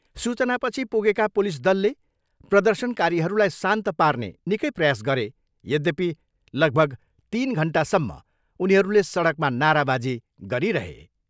सूचनापछि पुगेका पुलिस दलले प्रदशर्नकारीहरूलाई शान्त पार्ने निकै प्रयास गरे यद्यपि लगभग तिन घन्टासम्म उनीहरूले सडकमा नाराबाजी गरिरहे।